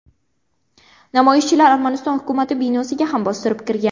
Namoyishchilar Armaniston hukumati binosiga ham bostirib kirgan.